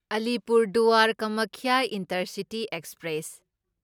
Alipurduar Kamakhya intercity express